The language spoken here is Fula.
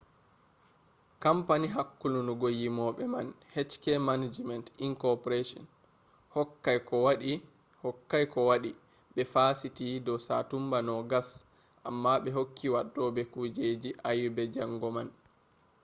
kampani hakkulungo yimobe man hk manajiment inc. hokkai kowadi be fasiti do satumba 20 amma be hokki waddobe kujeji ayebe jango man